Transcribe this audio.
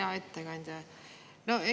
Hea ettekandja!